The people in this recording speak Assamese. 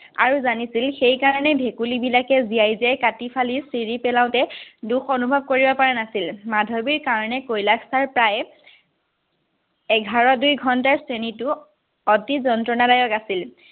আৰু জানিছিল সেইকাৰণে ভেকুলীবিলাকে জিয়াই জিয়াই কাটি-ফালি চিৰি পেলাওঁতে দুখ অনুভৱ কৰিব পৰা নাছিল। মাধৱীৰ কাৰণে কৈলাশ চাৰ প্ৰায়ে এঘাৰ-দুই ঘন্টাৰ শ্ৰেণীটো অতি যন্ত্ৰণাদায়ক আছিল।